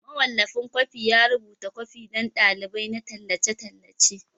Mawallafin kwafi ya rubuta kwafi don dalilai na tallace-tallace.